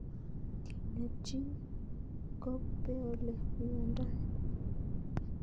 Kenyaa chii kopeeole miondoi